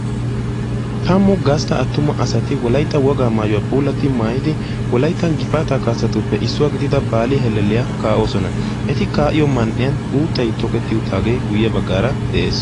Taammu gastta attuma asati wolaytta wogaa maayuwaa puulatti maayidi wolayttan gifaataa kaasattuppe issuwaa gidida baali hellelliyaa ka"oosona. eti ka'iyoo man"iyaan uuttay toketti uttaagee guye baggaara de'ees.